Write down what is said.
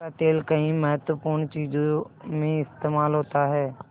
उसका तेल कई महत्वपूर्ण चीज़ों में इस्तेमाल होता है